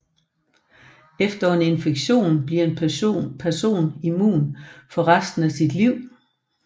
Efter en infektion bliver en person immun for resten af sit liv